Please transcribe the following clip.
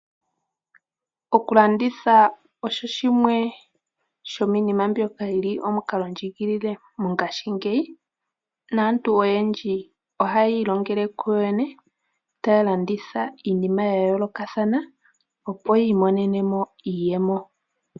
Okulandithwa osho shimwe shomiinima mbyoka yili omukalondjigilile mongaashingeyi. Naantu oyendji ohaya ilongele kuyoyene , taya landitha iinima yayoolokathana opo yiimonenemo iiyemo.